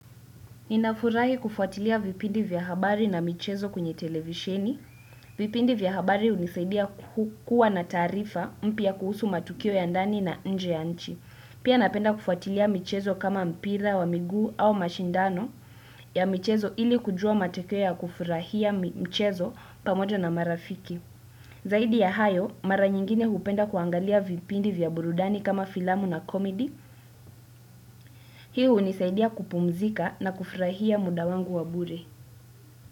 Ninafurahi kufuatilia vipindi vya habari na michezo kunye televisheni. Vipindi vya habari hunisaidia kukuwa na tarifa mpya kuhusu matukio ya ndani na nje ya nchi. Pia napenda kufuatilia michezo kama mpira wa miguu au mashindano ya michezo ili kujua matukio ya kufurahia michezo pamojo na marafiki. Zaidi ya hayo, mara nyingine hupenda kuangalia vipindi vya burudani kama filamu na komidi. Hii hunisaidia kupumzika na kufurahia muda wangu wa bure.